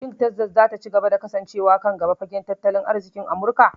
Shin Tekzas za ta ci gaba da kasancewa kan gaba fagen tattalin arzikin Amurka?